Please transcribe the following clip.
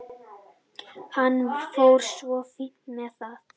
Hann fór svo fínt með það.